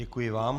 Děkuji vám.